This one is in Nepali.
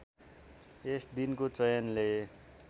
यस दिनको चयनले